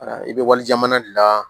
Ayiwa i bɛ wali jamana de la